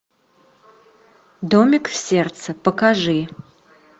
домик в сердце покажи